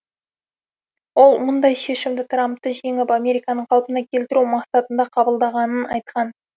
ол мұндай шешімді трампты жеңіп американы қалпына келтіру мақсатында қабылдағанын айтқан